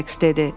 Said dedi.